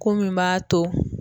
Ko min b'a to